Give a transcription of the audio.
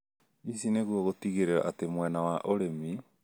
ici nĩguo gũtigĩrĩra atĩ mwena wa ũrĩmi